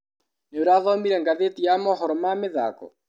Nĩũrathomire ngathĩti ya mohoro ma mĩthako?